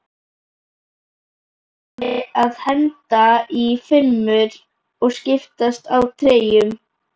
Brosandi að henda í fimmur og skiptast á treyjum?